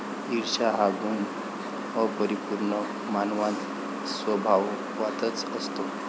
ईर्ष्या हा गुण अपरिपूर्ण मानवांत स्वभावतःच असतो.